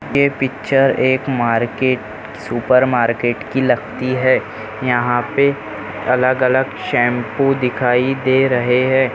ये पिक्चर एक market super market की लगती है यहाँ पे अलग-अलग शैम्पू दिखाई दे रहे है।